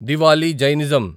Diwali Jainism